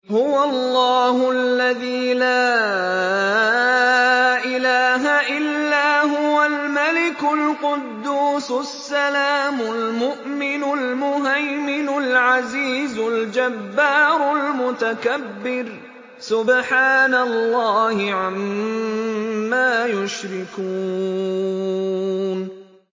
هُوَ اللَّهُ الَّذِي لَا إِلَٰهَ إِلَّا هُوَ الْمَلِكُ الْقُدُّوسُ السَّلَامُ الْمُؤْمِنُ الْمُهَيْمِنُ الْعَزِيزُ الْجَبَّارُ الْمُتَكَبِّرُ ۚ سُبْحَانَ اللَّهِ عَمَّا يُشْرِكُونَ